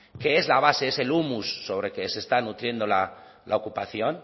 que es la base es el humus sobre que se está nutriendo la ocupación